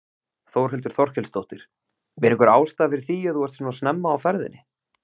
Þórhildur Þorkelsdóttir: Er einhver ástæða fyrir því að þú ert svona snemma á ferðinni?